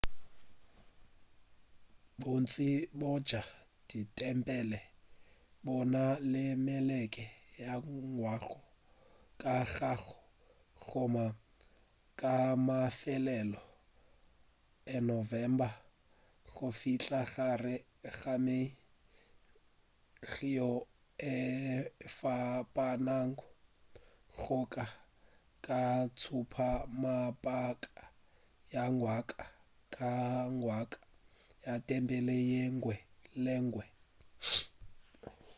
bontši bja ditempele bo na le mekete ya ngwaga ka ngwaga go thoma ka mafelelo a november go fihla gare ga may yeo e fapanago go ya ka tšhupamabaka ya ngwaga ka ngwaga ya tempele yenngwe le yenngwe